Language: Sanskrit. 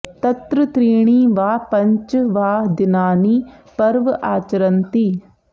तत्र त्रीणि वा पञ्च वा दिनानि पर्व आचरन्ति